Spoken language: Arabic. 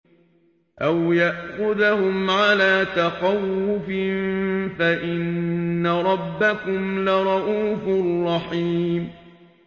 أَوْ يَأْخُذَهُمْ عَلَىٰ تَخَوُّفٍ فَإِنَّ رَبَّكُمْ لَرَءُوفٌ رَّحِيمٌ